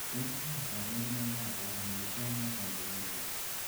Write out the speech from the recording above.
Tos nee koborunoikab Paramyotonia congenita?